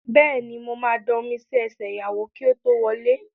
Bẹ́ẹ̀ni, mo ma da omi sí ẹsẹ̀ ìyàwó kí ó tó wọlé